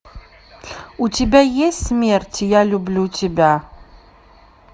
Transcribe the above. у тебя есть смерть я люблю тебя